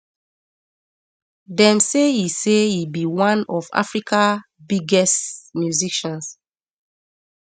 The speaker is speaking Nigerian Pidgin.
dem say e say e be one of africa biggest musicians